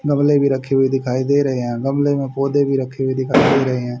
गमले भी रखे हुए दिखाई दे रहे हैं गमले मे पौधे भी रखे हुए दिखाई दे रहे हैं।